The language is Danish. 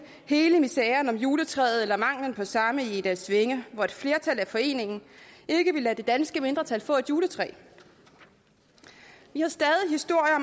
hele miseren om juletræet eller manglen på samme i egedalsvænge hvor et flertal i foreningen ikke ville lade det danske mindretal få et juletræ vi har stadig historier